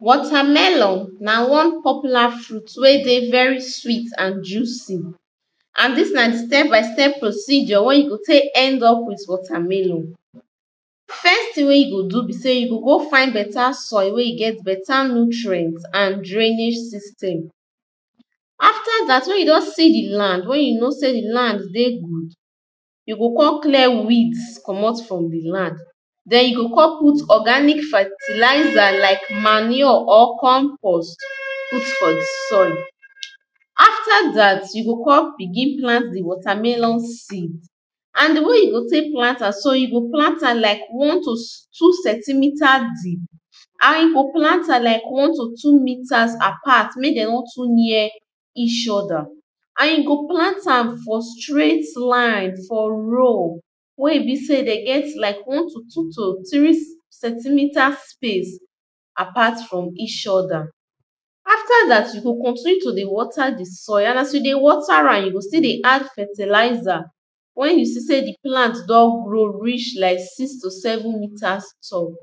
Watermelon na one popular fruit wey dey very sweet and juicy And this na the step by step procedure wey you go take end up with watermelon First thing wey you go do be say you go go find beta soil wey e get beta nutrients and drainage system After that, when you don see the land, wey you know sey the land dey good, You go come clear weeds comot for the land Then you go come put organic fertilizer like manure or compost, put for the soil after that, you go come begin plant di watermelon seed and the way you go take plant am, so you go plant am like one to two centimiter deep and you go plant am like one to two meters apart, make dem no too near each other and you go plant am for straight line, for row wey e be sey dem get like one to two to three centimeter space apart from each other after that, you go continue to dey water the soil and as you dey water am, you go still dey add fertilizer when you see sey the plant don grow reach like six to seven meters tall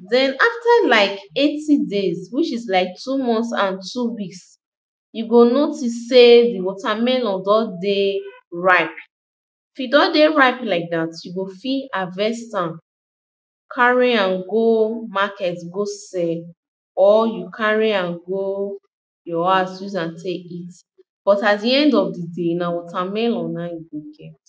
then after like eighty days, which is like two months and two weeks you go notice sey the watermelon don dey ripe if I don dey ripe like that, you go fit harvest am carry am go market go sell or you carry am go your house, use am take eat but at the end of the day, na watermelon na im you go get